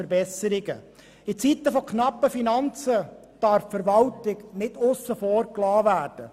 In Zeiten knapper Finanzen darf die Verwaltung nicht aussen vor gelassen werden.